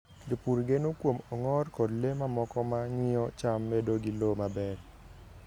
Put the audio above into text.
Jopur geno kuom ong'or koda le mamoko ma miyo cham bedo gi lowo maber.